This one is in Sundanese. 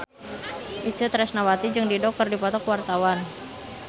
Itje Tresnawati jeung Dido keur dipoto ku wartawan